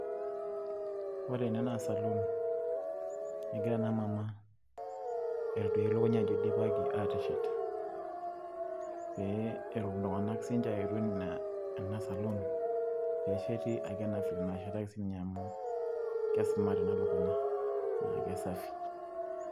ore ene naa saluun egira ena mama, aitoduaaya elukunya ajo eidipaki aateshet. pee etum sii ninche iltunganak aayetu ena saluun amu kesumaat ena lukunya naa kesafi.